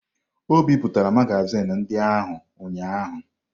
O bipụtara magazin ndị ahụ ụnyahụ.